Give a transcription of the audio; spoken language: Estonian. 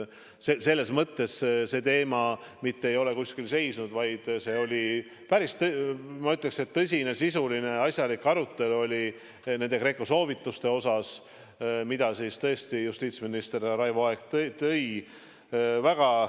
See teema ei ole mitte kuskil seisnud, vaid see oli päris, ma ütleksin, tõsine, sisuline ja asjalik arutelu nende GRECO soovituste üle, mida justiitsminister härra Raivo Aeg välja tõi.